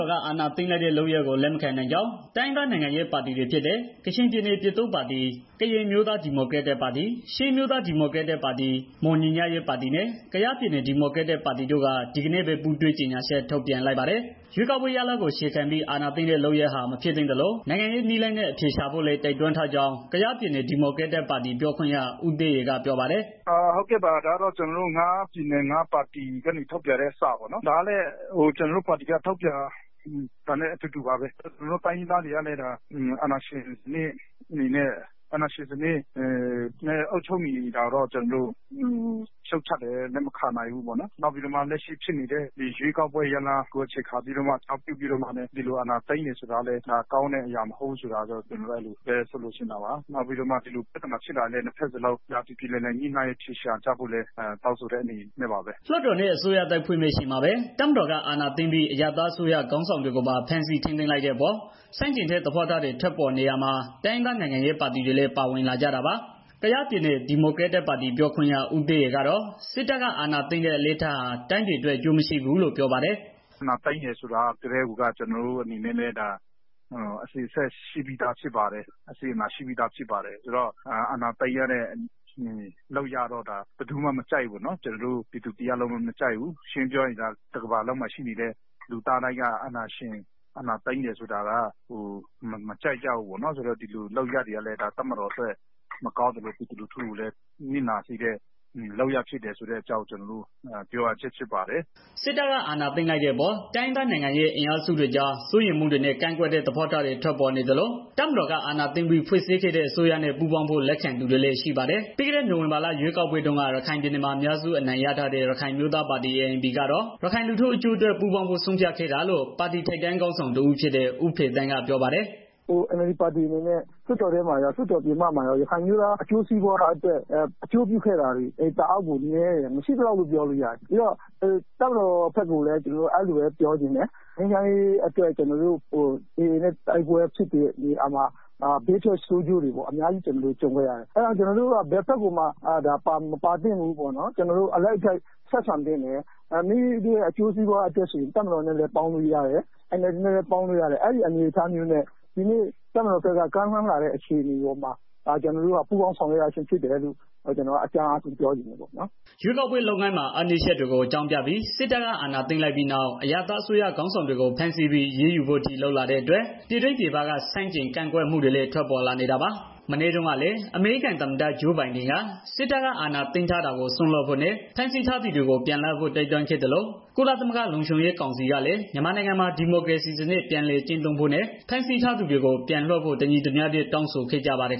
ော်က အာဏာသိမ်းလိုက်တဲ့ လုပ်ရပ်ကို လက်မခံနိုင်ကြောင်း တိုင်းရင်းသားနိုင်ငံရေး ပါတီတွေဖြစ်တဲ့ ကချင်ပြည်နယ် ပြည်သူ့ပါတီ၊ ကရင်အမျိုးသား ဒီမိုကရက်တစ်ပါတီ၊ ချင်းအမျိုးသားဒီမို ကရက်တစ်ပါတီ၊ မွန်ညီညွတ်ရေးပါတီနဲ့ ကယားပြည်နယ်ဒီမိုကရက်တစ်ပါတီတို့က ဒီနေ့ပဲ ပူးတွဲကြေညာချက် ထုတ်ပြန်လိုက်ပါတယ်။ ရွေးကောက်ပွဲရလဒ်ကို အခြေခံပြီး၊ အာဏာသိမ်းတဲ့လုပ်ရပ်ဟာ မဖြစ်သင့်သလို နိုင်ငံရေး နည်းလမ်းနဲ့ အဖြေရှာဖို့လည်း တိုက်တွန်းထားကြောင်း ကယားပြည်နယ် ဒီမိုကရက်တစ်ပါတီ ပြောခွင့်ရ ဦးသဲရယ်က ပြောပါတယ်။ “ကျနော်တို့ ငါးပြည်နယ် ငါးပါတီကနေ ထုတ်ပြန်တဲ့စာပေါ့နော်။ ကျနော်တို့ တိုင်းရင်းသား တွေ ကလည်း အာဏာရှင်းစနစ်နဲ့ အုပ်ချုပ်နေတာကို လက်မခံဘူးပေါ့နော်... ဒီကိစ္စကို ရှုံ့ချတယ်။ နောက်ပြီးတော့ လက်ရှိဖြစ်ပွားနေတဲ့ ရွေးကောက်ပွဲ ရလဒ်ကို အခြေခံပြီးတော့မှ ဒီလိုအာဏာသိမ်းတယ်ဆိုတာကတော့ အရာတစ်ခု မဟုတ်ဆိုတာကို ဆိုလိုချင် တာပါ။ နောက်ပြီးတော့ နှစ်ဘက်စလုံးပြေပြေလည်လည် အဖြေရှာကြဖို့လည်း တောင်းဆိုတဲ့ အနေနဲ့ပါ။” လွှတ်တော်နဲ့ အစိုးရသစ်ဖွဲ့မယ့် အချိန်မှာပဲ တပ်မတော်က အာဏာသိမ်းပြီး အရပ်သားအစိုးရ ခေါင်းဆောင်တွေကိုပါ ဖမ်းဆီးထိန်းသိမ်းလိုက်တဲ့အပေါ် ဆန့်ကျင်တဲ့ သဘောထားတွေ ထွက်ပေါ်နေရာမှာ တိုင်းရင်းသား နိုင်ငံရေးပါတီတွေလည်း ပါဝင်လာကြတာပါ။ ကယားပြည်နယ် ဒီမိုကရက်တစ်ပါတီ ပြောခွင့်ရ ဦးသဲရယ်ကတော့ စစ်တပ်က အာဏာသိမ်းတဲ့ အလေ့အထဟာ တိုင်းပြည်အတွက် အကျိုးမရှိဘူးလို့ ပြောပါတယ်။ “အာဏာသိမ်းတယ်ဆိုကတည်းက ကျနော်တို့အနေနဲ့လည်း အစဉ်အဆက် ရှိပြီးသားဖြစ် ပါတယ်။ အပြစ်အနာအဆာလည်း ရှိပြီးသားဖြစ်ပါတယ်ဆိုတော့ အာဏာသိမ်းရတဲ့ လုပ်ရပ်တော့ ဒါဘယ်သူမှ မကြိုက်ဘူးပေါ့နော်။ ကျနော်တို့ပြည်သူတို့လည်း မကြိုက်ဘူး။ ရှင်းရှင်း ပြောရရင် ဒါက တစ်ကမ္ဘာလုံးမှာ ရှိနေတဲ့ လူတွေက မကြိုက်ကြဘူး။ အာဏာသိမ်း တာက တပ်မတော်အတွက်လည်း မကောင်းသလို ပြည်သူလူထုကိုလည်း နစ်နာစေတဲ့ လုပ်ရက်ဖြစ်တယ်ဆိုတာကို ကျနော်တို့ ပြောရခြင်းဖြစ်ပါတယ်။” စစ်တပ်က အာဏာသိမ်းလိုက်တဲ့အပေါ် တိုင်းရင်းသား နိုင်ငံရေး အင်အားစုတွေကြား စိုးရိမ်မှုတွေနဲ့ ကန့်ကွက်တဲ့ သဘောထားတွေ ထွက်ပေါ်နေသလို တပ်မတော်က အာဏာသိမ်းပြီး ဖွဲ့စည်းခဲ့တဲ့ အစိုးရနဲ့ ပူးပေါင်းဖို့ လက်ခံသူတွေလည်း ရှိပါတယ်။ ပြီးခဲ့တဲ့ နိုဝင်ဘာလ ရွေးကောက်ပွဲတုန်းက ရခိုင်ပြည်နယ်မှာ အများစု အနိုင်ရထားတဲ့ ရခိုင်အမျိုးသားပါတီ ANP ကတော့ ရခိုင်လူထု အကျိုးအတွက် ပူးပေါင်းဖို့ ဆုံးဖြတ်ခဲ့တာလို့ ပါတီထိပ်တန်းခေါင်းဆောင် တဦးဖြစ်တဲ့ ဦးဖေသန်းက ပြောပါတယ်။ “NLD ပါတီအနေနဲ့ လွတ်တော်ထဲမှာရော လွတ်တော်ပြင်ပမှာပါ ရခိုင်အမျိုးသား အကျိုးစီးပွားအတွက် လုပ်ဆောင်ခဲ့တာတွေ တအားကိုနည်းတယ်။ မရှိသလောက်လို့ ပြောလို့ ရတယ်။ ပြီးတော့ တပ်မတော်ဘက်ကိုလည်း ကျနော်တို့ အဲဒီလိုပဲ ပြောချင်တယ်။ တပ်မတော်နဲ့၊ AA နဲ့ တိုက်ပွဲဖြစ်တဲ့နေရာမှာ ဘေးထွက်ဆိုးကျိုးတွေ အများကြီးရှိခဲ့တယ်။ အဲဒီတော့ ကျနော်တို့က ဘယ်ဘက်ကိုမှ မပါသင့်ဘူးပေါ့နော်။ ကျနော်တို့ အလိုက်အထိုက် ဆက်ဆံသင့်တယ်။ မိမိတို့ အကျိုးစီးပွားအတွက်ဆိုရင် တပ်မတော်နဲ့လည်း ပေါင်းလို့ရတယ်။ NLD အစိုးရနဲ့လည်း ပေါင်းလို့ရတယ်။ ဒီနေ့တပ်မတော်ဘက်က ကမ်းလှမ်းလာတဲ့ အနေအထားမှာ ကျနော်တို့က ပူးပေါင်း ဆောင်ရွက်ရခြင်းဖြစ်တယ်လို့ အကြမ်းအားဖြင့် ပြောချင်တယ်။” ရွေးကောက်ပွဲ လုပ်ငန်းစဉ်မှာ အားနည်းချက်တွေကို အကြောင်းပြပြီး စစ်တပ်က အာဏာသိမ်းလိုက်ပြီးနောက် အရပ်သားအစိုးရခေါင်းဆောင်တွေကို ဖမ်းဆီးပြီး အရေးယူဖို့အထိ လုပ်လာတဲ့အတွက် ပြည်တွင်း၊ ပြည်ပက ဆန့်ကျင်ကန့်ကွက်မှုတွေလည်း ထွက်ပေါ်လာနေတာပါ။ မနေ့တုန်းကလည်း အမေရိကန် သမ္မတ ဂျိုးဘိုင်ဒန်က စစ်တပ်က အာဏာသိမ်းထားတာကို စွန့်လွှတ်ဖု့ိနဲ့ ဖမ်းဆီးထားသူတွေကို ပြန်လွှတ်ဖို့ တိုက်တွန်းခဲ့သလို ကုလသမဂ္ဂ လုံခြုံရေးကောင်စီကလည်း မြန်မာနိုင်ငံမှာ ဒီမိုကရေစီစနစ် ပြန်လည် ကျင့်သုံးဖို့နဲ့ ဖမ်းဆီးထားသူတွေကို ပြန်လွှတ်ဖို့ တညီတညွတ်တည်း တောင်းဆိုခဲ့ကြပါတယ်